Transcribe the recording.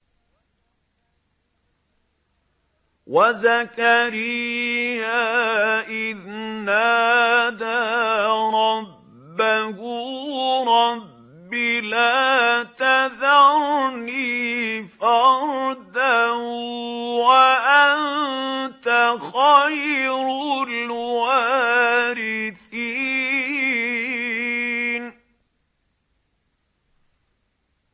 وَزَكَرِيَّا إِذْ نَادَىٰ رَبَّهُ رَبِّ لَا تَذَرْنِي فَرْدًا وَأَنتَ خَيْرُ الْوَارِثِينَ